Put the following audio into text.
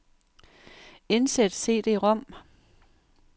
Indsæt cd-rom.